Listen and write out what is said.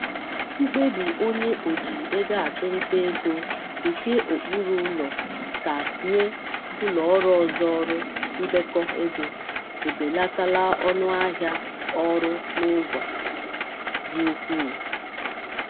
Mkpebi onye oji ego achụ nta ego nke okpuru ulo ka enye ụlọọrụ ọzọ ọrụ ndekọ ego ebelatala ọṅụ ahịa ọrụ n'ụzọ dị ukwuu.